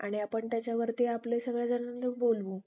आणि आपण त्याच्यावरती आपले सगळे जणांना बोलवू